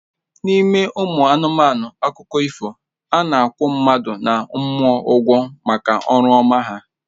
N'ime ụmụ anụmanụ akụkọ ifo, a na-akwụ mmadụ na mmụọ ụgwọ maka ọrụ ọma ha